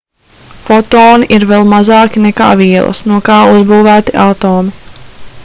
fotoni ir vēl mazāki nekā vielas no kā uzbūvēti atomi